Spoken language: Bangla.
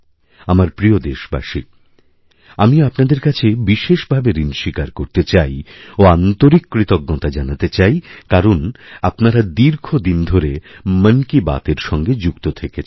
আমার প্রিয় দেশবাসী আমি আপনাদেরকাছে বিশেষভাবে ঋণ স্বীকার করতে চাই ও আন্তরিক কৃতজ্ঞতা জানাতে চাই কারণ আপনারাদীর্ঘদিন ধরে মন কি বাতএর সঙ্গে যুক্ত থেকেছেন